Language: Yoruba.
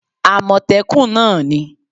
amotekun náà ni